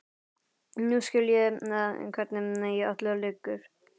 Nú skil ég hvernig í öllu liggur.